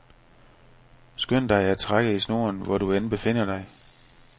Skynd dig at trække i snoren, hvor du end befinder dig.